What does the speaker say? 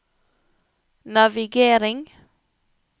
navigering